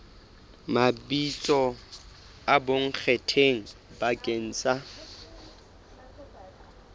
mabitso a bonkgetheng bakeng sa